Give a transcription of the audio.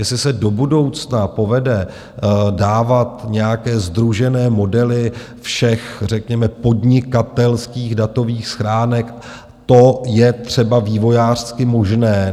Jestli se do budoucna povede dávat nějaké sdružené modely všech řekněme podnikatelských datových schránek, to je třeba vývojářsky možné.